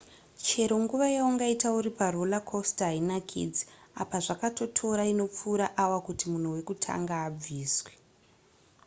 chero nguva yaungaite uri paroller coaster hainakidze apa zvakatotora inopfuura awa kuti munhu wekutanga abviswe